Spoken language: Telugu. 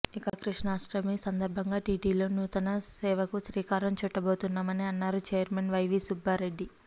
ఇక కృష్ణాష్టమి సందర్భంగా టిటిడిలో నూతన సేవకు శ్రీకారం చుట్టబోతున్నామని అన్నారు ఛైర్మన్ వైవీ సుబ్బారెడ్డి